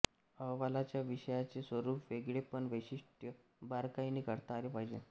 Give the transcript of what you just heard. अहवालाच्या विषयाचे स्वरूप वेगळेपण वैशिष्ट्य बारकाईने करता आले पाहिजे